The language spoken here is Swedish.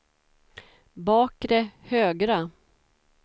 bakre högra